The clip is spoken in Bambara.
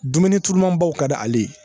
Dumuni turu manbaw ka di ale ye